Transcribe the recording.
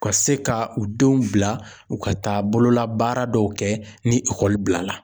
Ka se ka u denw bila u ka taa bololabaara dɔw kɛ ni bila la.